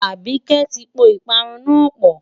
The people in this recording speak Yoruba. Àbíkẹ́ ti po ìparun náà pọ̀.